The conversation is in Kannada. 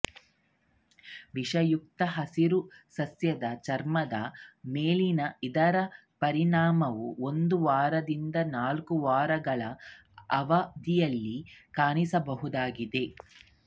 ವಿಷಯುಕ್ತ ಹಸಿರು ಸಸ್ಯದ ಚರ್ಮದ ಮೇಲಿನ ಇದರ ಪರಿಣಾಮವು ಒಂದು ವಾರದಿಂದ ನಾಲ್ಕು ವಾರಗಳ ಅವಧಿಯಲ್ಲಿ ಕಾಣಿಸಬಹುದಾಗಿದೆ